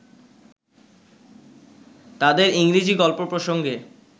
তাঁদের ইংরেজী গল্প প্রসঙ্গে